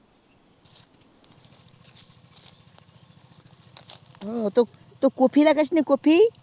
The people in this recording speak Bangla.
ও তো কুপি লাগাসনি কুপি